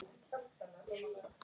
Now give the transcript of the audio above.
Hér er allt til alls.